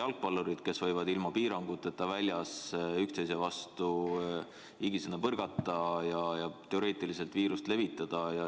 Jalgpallurid võivad ilma piiranguteta väljas higisena üksteise vastu põrgata ja teoreetiliselt viirust levitada.